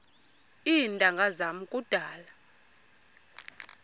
iintanga zam kudala